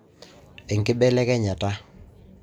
enkibelekenyata